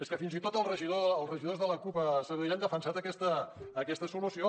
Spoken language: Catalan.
és que fins i tot els regidors de la cup a sabadell han defensat aquesta solució